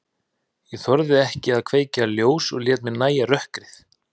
Ég þorði ekki að kveikja ljós og lét mér nægja rökkrið.